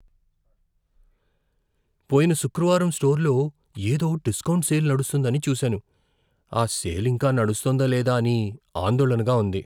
పోయిన శుక్రవారం స్టోర్లో ఏదో డిస్కౌంట్ సేల్ నడుస్తోందని చూశాను. ఆ సేల్ ఇంకా నడుస్తోందా లేదా అని ఆందోళనగా ఉంది.